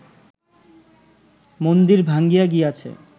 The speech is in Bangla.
মন্দির ভাঙ্গিয়া গিয়াছে